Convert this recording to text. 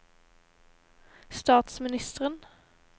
statsministeren